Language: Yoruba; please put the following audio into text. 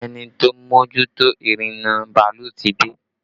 Ẹni tó ń mójútó ìrìnnà bàálù ti dé